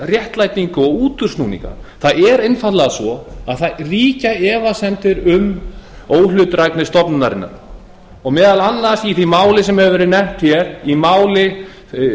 svona málfundaréttlætingu og útúrsnúninga það er einfaldlega svo að það ríkja efasemdir um óhlutdrægni stofnunarinnar og meðal annars í því máli sem hefur verið nefnt hér í máli